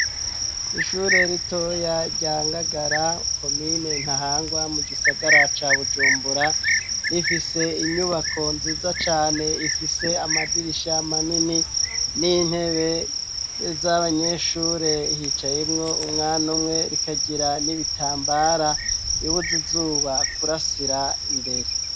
Ishure ritoya ryangagara komine nta hangwa mu gisagara ca bujumbura rifise inyubako nziza cane rifise amadirisha manini n'intebe z'abanyeshure hicaymwo umwana umwe rikagira n'ibitambara bibuzi zuba bakurasira imbere.